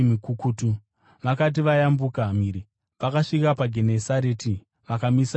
Vakati vayambuka mhiri, vakasvika paGenesareti vakamisa igwa ipapo.